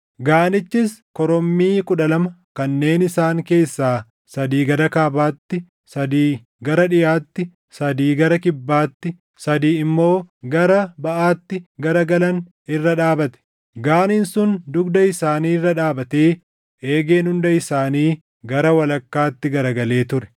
Gaanichis korommii kudha lama kanneen isaan keessaa sadii gara kaabaatti, sadii gara dhiʼaatti, sadii gara kibbaatti, sadii immoo gara baʼaatti garagalan irra dhaabate. Gaaniin sun dugda isaanii irra dhaabatee eegeen hunda isaanii gara walakkaatti garagalee ture.